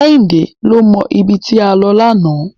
Kẹ́hìndé ló mọ ibi tí a lọ lánàá.